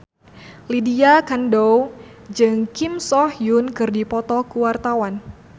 Lydia Kandou jeung Kim So Hyun keur dipoto ku wartawan